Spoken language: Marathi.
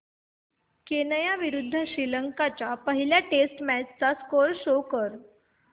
केनया विरुद्ध श्रीलंका च्या पहिल्या टेस्ट मॅच चा स्कोअर शो कर